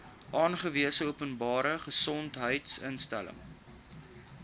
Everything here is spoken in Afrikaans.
aangewese openbare gesondheidsinstelling